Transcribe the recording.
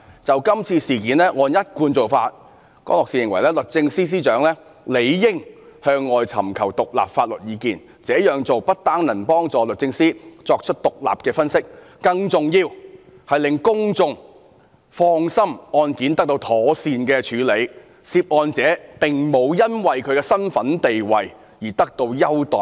就這次事件，江樂士認為按一貫做法，律政司司長理應向外尋求獨立法律意見，這樣做不單能幫助律政司作出獨立的分析，更重要是令公眾放心案件得到妥善處理，涉案者並無因為其身份和地位而得到優待。